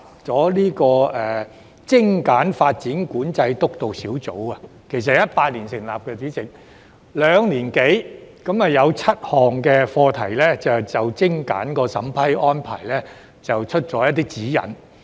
主席，督導小組於2018年成立，兩年多以來只就7項精簡審批安排發出指引。